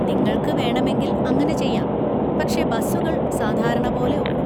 നിങ്ങൾക്ക് വേണമെങ്കിൽ അങ്ങനെ ചെയ്യാം, പക്ഷേ ബസുകൾ സാധാരണ പോലെ ഓടും.